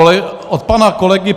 Od pana kolegy